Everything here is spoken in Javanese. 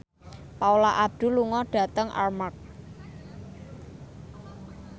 Paula Abdul lunga dhateng Armargh